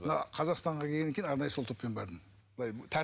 мына қазақстанға келгеннен кейін арнайы сол топпен бардым былай